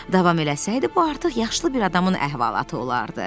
Davam eləsəydi, bu artıq yaşlı bir adamın əhvalatı olardı.